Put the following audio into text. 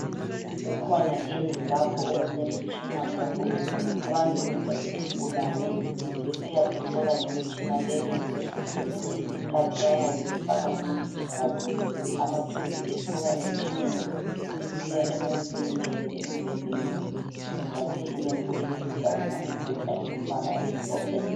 Kukhona indlu lapho okulemitshina khona abangenisa isigulane besiyasihlola ngemitshina leyo. Kwesinye isikhathi bayabe befaka umuntu igazi , amatshubhu esuka emtshineni esiya emuntwini elele embhedeni embathe ilembu eliluhlaza umbheda ungumbala omhlophe.